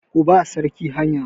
Ku ba sarki hanya!